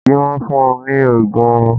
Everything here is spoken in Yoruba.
Kí wọ́n fun ní òògùn oorun.